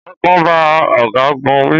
Ọ̀gágun bá ọ̀gágun wí